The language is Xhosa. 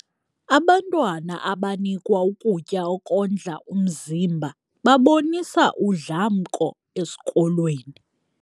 Abantwana abanikwa ukutya okondla umzimba babonisa udlamko esikolweni.